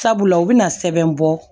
Sabula u bɛna sɛbɛn bɔ